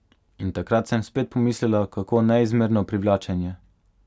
In takrat sem spet pomislila, kako neizmerno privlačen je.